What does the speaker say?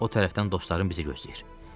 O tərəfdən dostların bizi gözləyir.